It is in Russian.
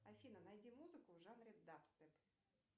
афина найди музыку в жанре дабстеп